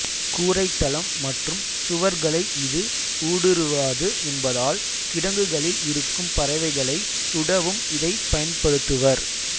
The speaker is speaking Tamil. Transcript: கூரைத்தளம் மற்றும் சுவர்களை இது ஊடுருவாது என்பதால் கிடங்குகளில் இருக்கும் பறவைகளை சுடவும் இதை பயன்படுத்துவர்